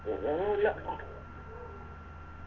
പിന്നെ ഒന്നുല്ല